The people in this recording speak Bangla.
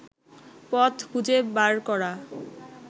পথ খুঁজে বার করা